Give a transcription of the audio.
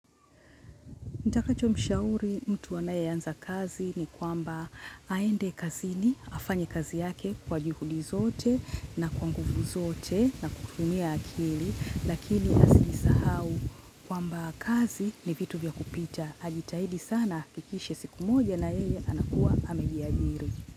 Nitakacho mshauri mtu anayeanza kazi ni kwamba aende kazini, afanye kazi yake kwa juhudi zote na kwa nguvu zote na kutumia akili, lakini asiisahau kwamba kazi ni vitu vya kupita. Ajitahidi sana, ahakikishe siku moja na yeye anakuwa amejiajiri.